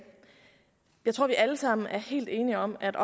jeg tror vi alle sammen er helt enige om at